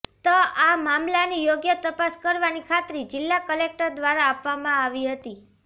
ત આ મામલાની યોગ્ય તપાસ કરવાની ખાત્રી જિલ્લા કલેકટર દ્વારા આપવામાં આવી હતી